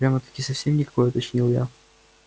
прямо-таки совсем никакой уточнил я